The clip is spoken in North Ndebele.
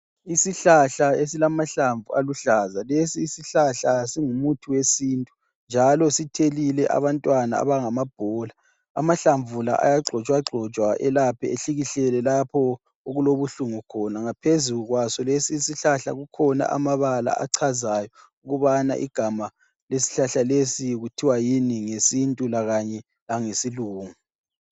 Isihlahla esilamahlamvu aluhlaza. Lesi isihlahla singumuthi wesintu njalo sithelile abantwana abangamabhola. Amahlamvu la ayagxotshwagxotshwa elaphe ehlikihlelwe lapho okulobuhlungu khona. Ngaphezu kwaso lesi isihlahla kukhona amabala achazayo ukubana igama lesihlahla lesi kuthiwa yini ngesintu lakanye langesilungu.